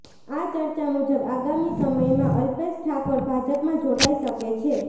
આ ચર્ચા મુજબ આગામી સમયમાં અલ્પેશ ઠાકોર ભાજપમાં જોડાઈ શકે છે